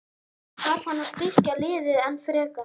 En þarf hann að styrkja liðið enn frekar?